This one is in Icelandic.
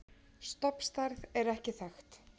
stofnstærð er ekki þekkt